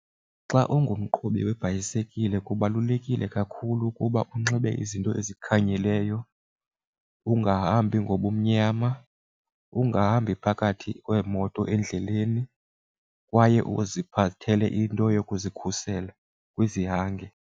Xa ungumqhubi webhayisikile kubalulekile kakhulu ukuba unxibe izinto ezikhanyileyo, ungahambi ngobumnyama ungahambi phakathi kweemoto endleleni kwaye uziphathele into yokuzikhusela kwizihange.